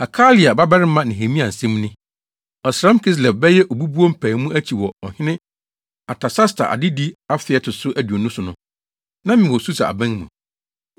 Hakalia babarima Nehemia nsɛm ni: Ɔsram Kislev (bɛyɛ Obubuo) mpaemu akyi wɔ Ɔhene Artasasta adedi afe a ɛto so aduonu so no, na mewɔ Susa aban mu.